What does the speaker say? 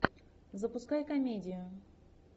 запускай комедию